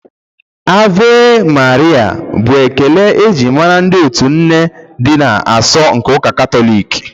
"Ave Maria" bụ ekele eji mara ndị otu Nne dị asọ n'ụka Katọlik.